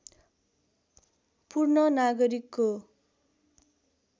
पूर्ण नागरिकको